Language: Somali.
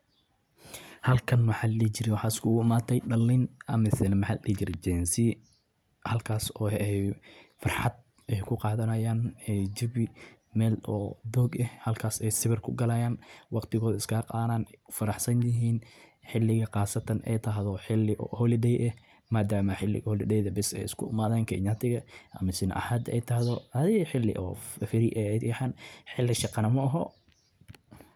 Maalin qorrax leh oo fasax ah, qoyskeygu wuxuu go’aansaday inuu safar dheer ku aado xeebta si aan waqti fiican wada qaadanno oo aan uga nasto hawsha maalinlaha ah. Waxaan ku bilaawnay safarka subaxdii aroortii, iyadoo dhammaan xubnaha qoyska ay diyaar u ahaayeen inay ka faa’iideystaan maalintaas quruxda badan. Caruurta waxay wateen ciyaaro iyo alaabo lagu madadaasho.